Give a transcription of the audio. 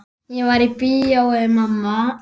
Ég var í bíói mamma.